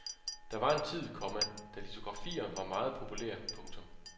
Der var en tid, komma da litografier var meget populære. punktum